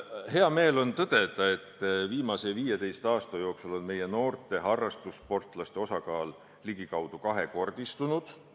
Hea meel on tõdeda, et viimase 15 aasta jooksul on meie noorte harrastussportlaste osakaal ligikaudu kahekordistunud.